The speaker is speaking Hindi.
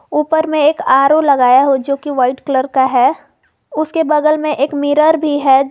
ऊपर में एक आरो लगाए हो जो की वाइट कलर का है उसके बगल में एक मिरर भी है।